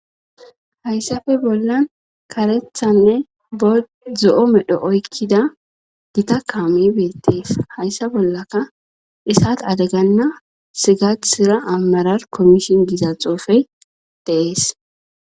Hayssafe bollan karethanne b zo7o medho oykkida dita kaami beettees hayssa bollaka isat adeganna sigahsira ammarar kommishin giza xoofey deees.